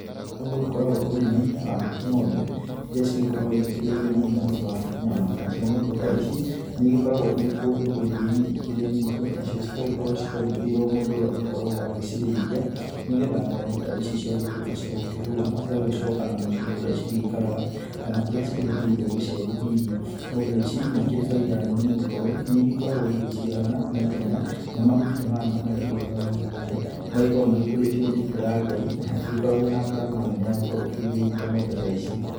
Nĩ gũkoragwo ũrĩmi wa ng'ombe iria cigĩkoragwo igĩkĩrĩithio mũno nĩ ũndũ wa nyama. Nacio ng'ombe ici nĩ igĩkoragwo irĩ kũndũ rũriĩ-inĩ ĩkĩrĩ nyingĩ, nacio igakorwo ciandĩkĩirwo mũndũ ũrĩa ũgĩkoragwo agĩcirĩithia nĩ getha ng'ombe ta ici ciagĩtuĩka cia gũkĩhuna, igagĩcoka na mũciĩ kũrĩa cikaraga kana kũria cigĩakĩirwo gĩcegũ hihi. Ng'ombe ici nĩ igĩkoragwo na bainda nene nĩ gũkorwo nĩ igĩkoragwo igĩgĩciarana na ihenya, na mahuti ta maya maria igĩkoragwo ikĩrĩa magĩkoragwo magĩkurĩtio nĩ mbura ya Ngai na hatigĩkoragwo na ngarama nene ya gũkorwo ũkĩrĩithia ng'ombe ta ici.